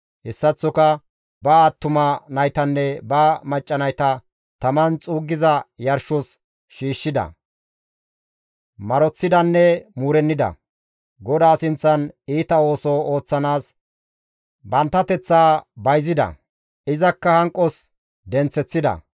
Hessaththoka ba attuma naytanne ba macca nayta taman xuuggiza yarshos shiishshida; maroththidanne muurennida; GODAA sinththan iita ooso ooththanaas banttanateththa bayzida; izakka hanqos denththeththida.